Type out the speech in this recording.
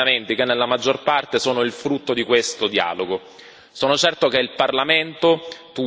Domani si vota sia sul testo che su emendamenti che nella maggior parte sono il frutto di questo dialogo.